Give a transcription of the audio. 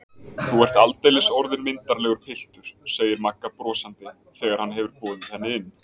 Þú ert aldeilis orðinn myndarlegur piltur, segir Magga brosandi þegar hann hefur boðið henni inn.